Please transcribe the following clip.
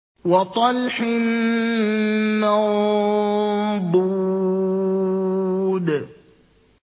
وَطَلْحٍ مَّنضُودٍ